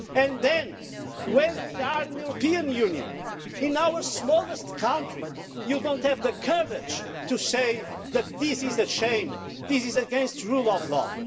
And then, when we are in the European Union, in our smallest country, you don't have the courage to say that this is a shame and this is against the rule of law.